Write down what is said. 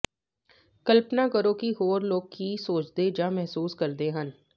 ਕਲਪਨਾ ਕਰੋ ਕਿ ਹੋਰ ਲੋਕ ਕੀ ਸੋਚਦੇ ਜਾਂ ਮਹਿਸੂਸ ਕਰਦੇ ਹਨ